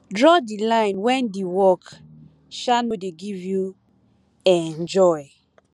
draw di line when di work um no de give you um joy